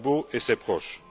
Gbagbo et ses proches.